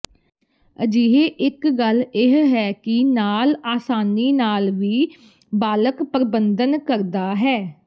ਅਜਿਹੇ ਇੱਕ ਗੱਲ ਇਹ ਹੈ ਕਿ ਨਾਲ ਆਸਾਨੀ ਨਾਲ ਵੀ ਬਾਲਕ ਪਰਬੰਧਨ ਕਰਦਾ ਹੈ